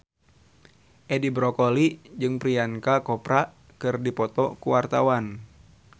Edi Brokoli jeung Priyanka Chopra keur dipoto ku wartawan